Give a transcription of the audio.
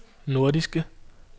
nordiske